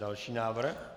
Další návrh?